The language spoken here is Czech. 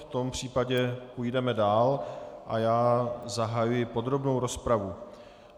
V tom případě půjdeme dál a já zahajuji podrobnou rozpravu.